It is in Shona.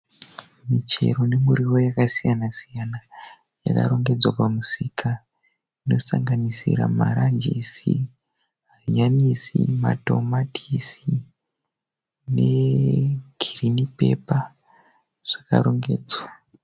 Michero nemirivo yakasiyana siyana yakarongedzwa pamusika inosanganisira maranjisi, hanyanisi, matamatisi negirinipepa zvakarongedzwa.